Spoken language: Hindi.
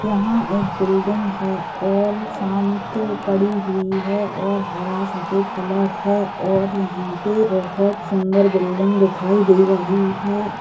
यहाँ एक बिल्डिंग है और शांत पड़ी हुई है और हरा सफेद कलर है और यहाँ पे बहुत सुंदर बिल्डिंग दिखाई दे रही है।